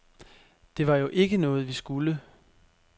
Det var jo ikke noget, vi skulle.